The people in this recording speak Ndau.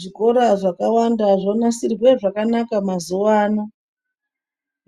Zvikora zvakawanda zvanasirwa zvakanaka mazuwa ano,